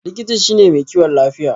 Likita shine mai kiwon lafiya.